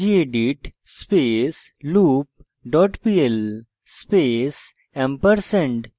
gedit space loop dot pl space &